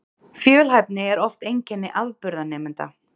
Fjölhæfni er oft einkenni afburðanemenda